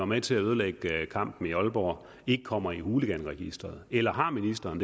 med til at ødelægge kampen i aalborg ikke kommer i hooliganregisteret eller har ministeren